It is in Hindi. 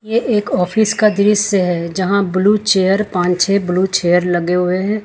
ये एक ऑफिस का दृश्य है जहां ब्लू चेयर पांच छ ब्लू चेयर लगे हुए है।